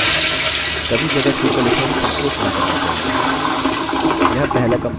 कभी जगह छोड़ कर लिखने में संकोच नहीं करना चाहिए